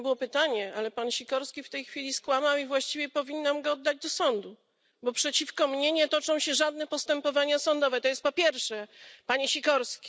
To nie było pytanie, ale pan Sikorski w tej chwili skłamał i właściwie powinnam go podać do sądu, bo przeciwko mnie nie toczą się żadne postępowania sądowe to jest po pierwsze, panie Sikorski.